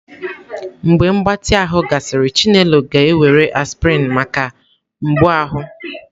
Mgbe mgbatị ahụ gasịrị, chinelo ga-ewere aspirin maka mgbu ahụ.